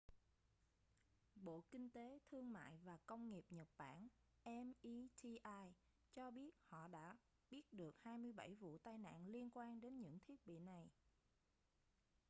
bộ kinh tế thương mại và công nghiệp nhật bản meti cho biết họ đã biết được 27 vụ tai nạn liên quan đến những thiết bị này